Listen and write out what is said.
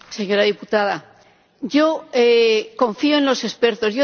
Señora diputada, yo confío en los expertos.